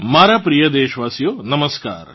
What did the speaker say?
મારા પ્રિય દેશવાશિયો નમસ્કાર